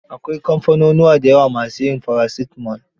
Akwai kamfanunuwa da yawa ma su yin paracetamol.